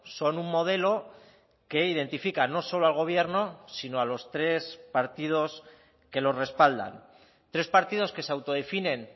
son un modelo que identifican no solo al gobierno sino a los tres partidos que lo respaldan tres partidos que se autodefinen